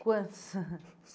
Quantos?